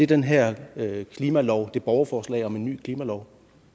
den her klimalov det borgerforslag om en ny klimalov